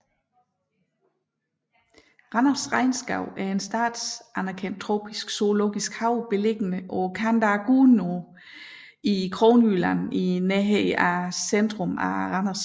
Randers Regnskov er en statsanerkendt tropisk zoologisk have beliggende på kanten af Gudenåen i Kronjylland nær centrum af Randers